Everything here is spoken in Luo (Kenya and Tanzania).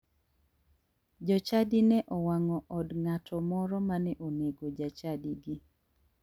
Jochadi ne owang'o od ng'ato moro mane onego jachadigi.